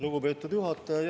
Lugupeetud juhataja!